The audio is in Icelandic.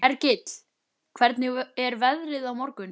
Hergill, hvernig er veðrið á morgun?